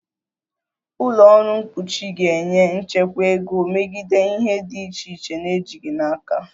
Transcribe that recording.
Ụlọ ọrụ mkpuchi ga-enye nchekwa ego megide ihe dị iche iche na-ejighị n'aka